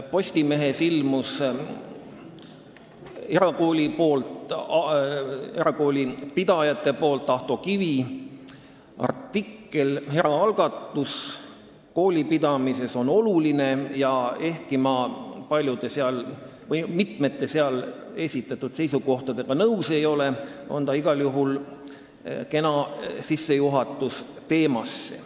Nimelt ilmus Postimehes erakoolipidajate esindaja Ahto Kivi artikkel "Eraalgatus koolipidamises on oluline" ja ehkki ma mitme seal esitatud seisukohaga nõus ei ole, on see igal juhul kena sissejuhatus teemasse.